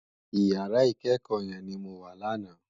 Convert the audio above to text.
Iyàrá ikèékò yèn ni mó wá làná